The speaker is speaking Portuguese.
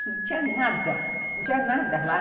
Não tinha nada, não tinha nada lá.